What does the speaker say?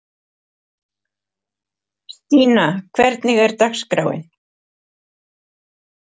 Stína, hvernig er dagskráin?